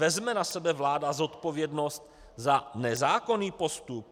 Vezme na sebe vláda zodpovědnost za nezákonný postup?